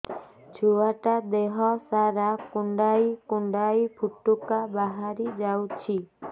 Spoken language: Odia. ଛୁଆ ଟା ଦେହ ସାରା କୁଣ୍ଡାଇ କୁଣ୍ଡାଇ ପୁଟୁକା ବାହାରି ଯାଉଛି